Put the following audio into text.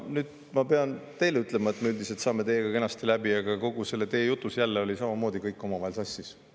Nüüd ma pean teile ütlema – kuigi me üldiselt saame teiega kenasti läbi –, et kogu selles teie jutus oli samamoodi kõik omavahel sassis.